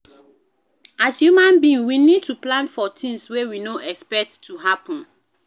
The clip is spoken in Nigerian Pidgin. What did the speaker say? As human being we need to plan for things wey we no dey expect to happen